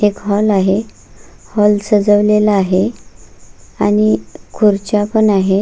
एक हाॅल आहे हाॅल सजवलेला आहे आणि खुर्च्या पण आहे.